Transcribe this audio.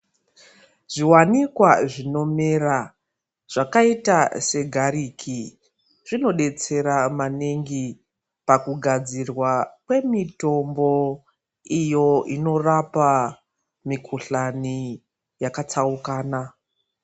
Zviwanikwa zvinomera ,zvakaita se gariki zvinodetsera maningi pakugadzirwa kwemitombo iyo inorapa mikuhlani yakatsaukana.